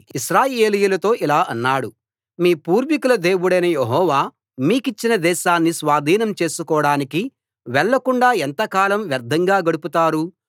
కాబట్టి యెహోషువ ఇశ్రాయేలీయులతో ఇలా అన్నాడు మీ పూర్వీకుల దేవుడైన యెహోవా మీకిచ్చిన దేశాన్ని స్వాధీనం చేసుకోడానికి వెళ్లకుండా ఎంతకాలం వ్యర్థంగా గడుపుతారు